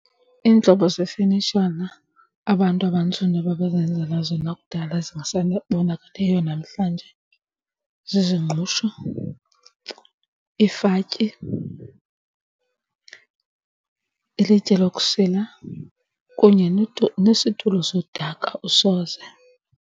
Iintlobo zefenitshala abantu abantsundu ababezenzela zona kudala zingasabonakaliyo namhlanje zizingqusho, iifatyi, ilitye lokusila, kunye nesitulo sodaka usoze.